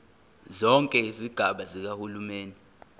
zonke izigaba zikahulumeni